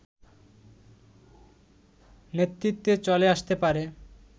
নেতৃত্বে চলে আসতে পারে